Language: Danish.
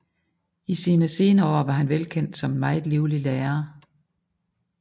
I sine senere år var han velkendt som en meget livlig lærer